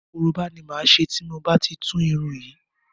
Koroba ni máa ṣe tí mo bá ti tú irun yìí.